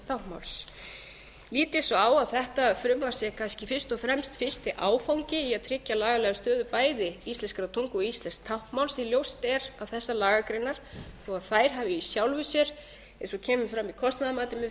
táknmáls lít ég svo á að þetta frumvarp sé kannski fyrst og fremst fyrsti áfangi í að tryggja lagalega stöðu bæði íslenskrar tungu og íslensks táknmáls því að ljóst er að þessar lagagreinar þó að þær hafi í sjálfu sér eins og kemur fram í kostnaðarmatinu í